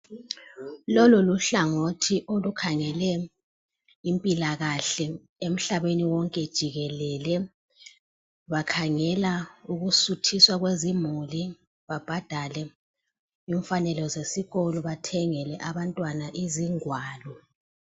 Lolu luhlangothi olukhangele impilakahle emhlabeni wonke jikelele. Bakhangela ukusuthiswa kwezimuli, babhadale imfanelo zesikolo, bathengele abantwana izingwalo.